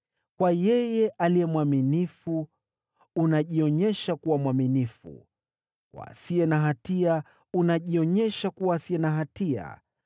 “Kwa yeye aliye mwaminifu unajionyesha kuwa mwaminifu, kwa asiye na hatia unajionyesha kutokuwa na hatia,